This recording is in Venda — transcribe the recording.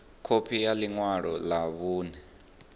khophi ya ḽi ṅwalo ḽa vhuṋe